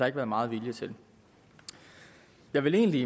ikke været meget vilje til jeg vil egentlig